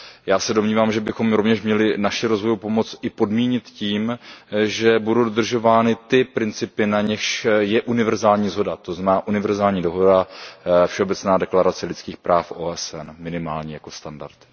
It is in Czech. Já se domnívám, že bychom rovněž měli naši rozvojovou pomoc podmínit tím, že budou dodržovány ty principy, na nichž je univerzální shoda, to znamená univerzální dohoda, všeobecná deklarace lidských práv OSN, minimálně jako standard.